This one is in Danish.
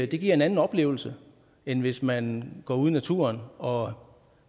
det giver en anden oplevelse end hvis man går ud i naturen og